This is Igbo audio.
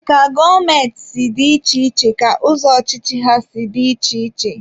Ka gọọmenti si dị iche iche ka ụzọ ọchịchị ha si dị iche iche.